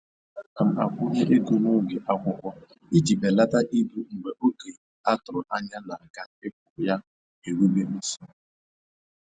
Ana m akwụnye ego n'oge akwụkwọ iji belata ibu mgbe oge a tụrụ anya na-aga akwụ ya erube nso.